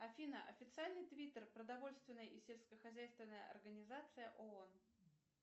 афины официальный твиттер продовольственной и сельскохозяйственной организации оон